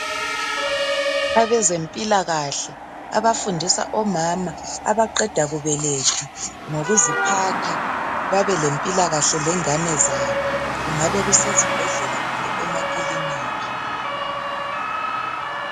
Abezemphilakahle abafundisa omama abaqeda kubeletha, ngokuziphatha, babe lephilakahle lengane zabo, kungabe kusezibhedlela kumbe emakiliki.